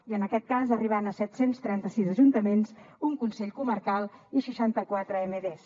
i en aquest cas arribarem a set cents i trenta sis ajuntaments un consell comarcal i seixanta quatre emds